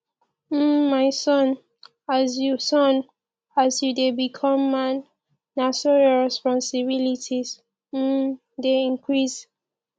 um my son as you son as you dey become man na so your responsilities um dey increase